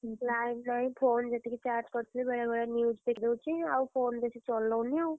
Line ନାହିଁ phone ଯେତିକି charge କରିଥିଲି ବେଳେବେଳେ news ଦେଖିଦଉଛି ଆଉ phone ବେଶୀ ଚଲଉନି ଆଉ।